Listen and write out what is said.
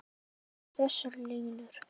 Í ljóðinu eru þessar línur